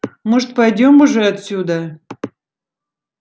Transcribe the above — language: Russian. может пойдём уже отсюда